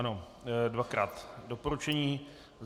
Ano, dvakrát doporučení.